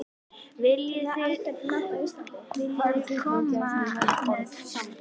Viljiði koma með í ísbíltúr?